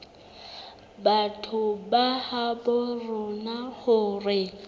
batho ba habo rona hore